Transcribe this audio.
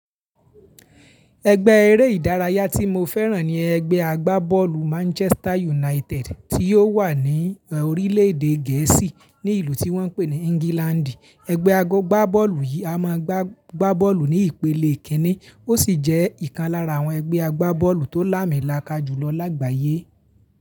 Ẹgbẹ́ eré ìdárayá tí mo fẹ́ràn ni ẹgbẹ́ agbábọ́ọ̀lù Manchester United tí ó wà ní orílẹ̀ èdè Gẹ̀ẹ́sì ní ìlú tí wọ́n ń pè ní England. Ẹgbẹ́ agbábọ́ọ̀lù yìí a máa gbá bọ́ọ̀lù ní ìpele kìíní, ó sì jẹ́ ìkan lára àwọn ẹgbẹ́ agbábọ́ọ̀lù tó lámìlọ̀ká jùlọ lágbàyé.